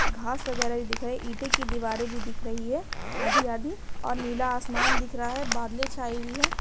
घास वैगरा भी दिखाई ईंटे की दीवारें भी दिख रही है आधी-आधी और नीला आसमान दिख रहा है बादले छाए हुई है।